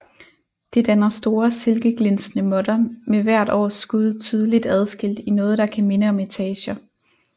Det danner store silkeglinsende måtter med hvert års skud tydeligt adskilt i noget der kan minde om etager